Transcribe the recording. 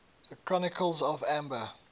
the chronicles of amber